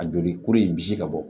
A joli kura in bisi ka bɔ